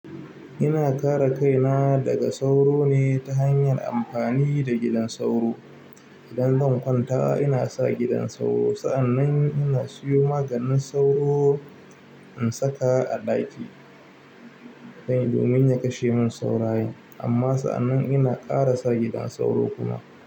Ina kare kaina daga sauro ne ta hanyar amfani da gidan sauro. Idan zan kwanta ina sa gidan sauro. Sa'annan ina siyo maganin sauro in saka a ɗaki dan domin ya kashe min saurayen. Amma sa'annan ina ƙara sa gidan sauro kuma.